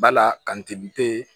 Bala ka